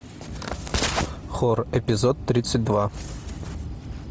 хор эпизод тридцать два